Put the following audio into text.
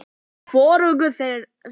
Hvoruga þeirra.